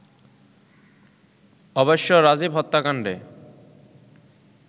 অবশ্য রাজীব হত্যাকাণ্ডে